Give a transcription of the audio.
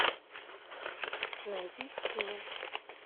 найди эмин